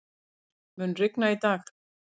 Heimir, mun rigna í dag?